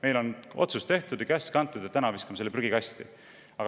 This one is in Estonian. Meil on otsus tehtud ja käsk antud, et täna viskame selle prügikasti.